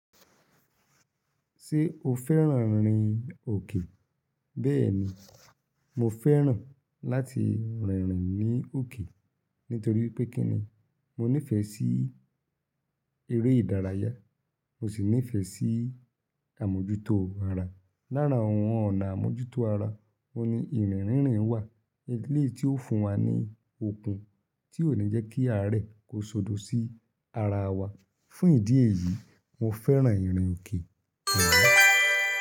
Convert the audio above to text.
Ṣé o fẹ́ràn ìrìn òkè? Bẹ́ẹ̀ni, mo fẹ́ràn láti rìn ní òkè nítorí pé kíni mo nífẹ̀ẹ́ sí eré ìdárayá, mo sì nífẹ̀ẹ́ sí àmójútó ara. Lara àwọn ọ̀nà àmójútó ara, òhun ni ìrìn rìn rin wà. Eléyìí tí ó fún wa ní okun tí ò ni jẹ́ kí àárẹ̀ kó sọdọ̀ sí ara wa. Fún ìdí èyí, mo fẹ́ràn ìrìn òkè,